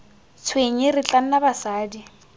tshwenye re tla nna basadi